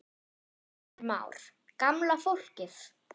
Heimir Már: Gamla fólkið?